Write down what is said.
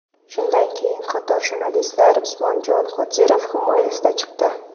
Shundan keyin qator jurnalistlar Usmonjon Qodirov himoyasiga chiqdi .